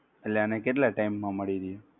એટલે એના કેટલા time માં મળી રહે?